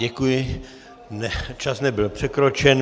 Děkuji, čas nebyl překročen.